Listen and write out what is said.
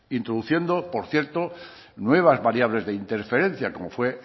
introduciendo por cierto nuevas variables de interferencia como fue